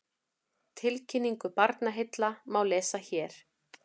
Tilkynningu Barnaheilla má lesa hér